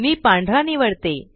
मी पांढरा निवडते